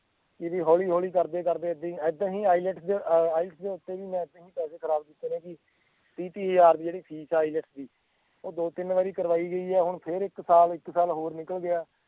ਹੌਲੀ ਹੌਲੀ ਕਰਦੇ ਕਰਦੇ ਏਦਾਂ ਹੀ ਏਦਾਂ ਹੀ IELTS, IELTS ਦੇ ਉੱਤੇ ਵੀ ਮੈਂ ਪੈਸੇ ਖਰਾਬ ਕਿੱਤੇ ਨੇ ਜੀ ਵੀਹ ਤੀਹ ਹਜ਼ਾਰ ਰੁਪਏ ਜਿਹੜੀ ਫੀਸ ਆ IELTS ਦੀ ਉਹ ਦੋ ਤਿੰਨ ਵਾਰ ਕਰਵਾਈ ਗਈ ਆ ਹੁਣ ਫੇਰ ਇੱਕ ਸਾਲ ਇੱਕ ਸਾਲ ਹੋਰ ਨਿਕਲ ਗਿਆ